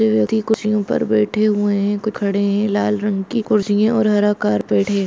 कुछ व्यक्ति कुर्सियों पर बैठे हुए है कोई खड़े है लाल रंग कुर्सि हैं और हरा कारपेट है।